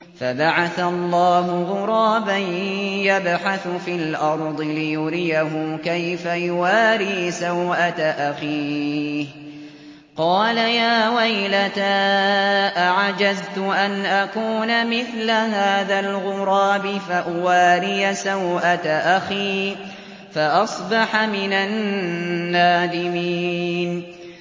فَبَعَثَ اللَّهُ غُرَابًا يَبْحَثُ فِي الْأَرْضِ لِيُرِيَهُ كَيْفَ يُوَارِي سَوْءَةَ أَخِيهِ ۚ قَالَ يَا وَيْلَتَا أَعَجَزْتُ أَنْ أَكُونَ مِثْلَ هَٰذَا الْغُرَابِ فَأُوَارِيَ سَوْءَةَ أَخِي ۖ فَأَصْبَحَ مِنَ النَّادِمِينَ